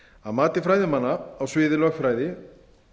að mati fræðimanna á sviði lögfræði